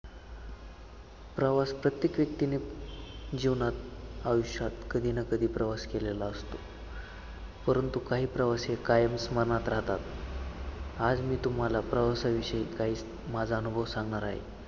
प्रवास प्रत्येक व्यक्तीने जीवनात आयुष्यात कधी ना कधी प्रवास केलेला असतो, परंतु काही प्रवास हे कायम स्मरणात राहतात. आज मी तुम्हाला प्रवासविषयी काही माझं अनुभव सांगणार आहे.